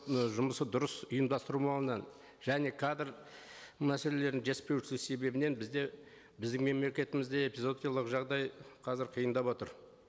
ы жұмысы дұрыс ұйымдастырмауынан және кадр мәселелерін жетіспеушілік себебінен бізде біздің мемлекетімізде эпизоотиялық жағдай қазір киындап отыр